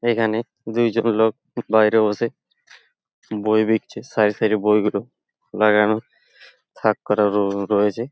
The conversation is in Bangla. এইখানে দুইজন লোক বাইরে বসে বই বিকছে। সারি সারি বইগুলো খুলা যেন থাক করা র-রয়েছে ।